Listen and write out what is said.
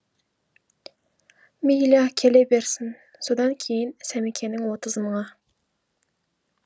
мейлі келе берсін содан кейін сәмекенің отыз мыңы